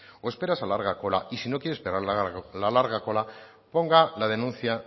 o espera esa larga cola y si no quiere esperar la larga cola ponga la denuncia